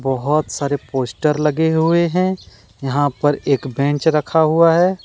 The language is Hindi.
बहोत सारे पोस्टर लगे हुए हैं यहां पर एक बेंच रखा हुआ है।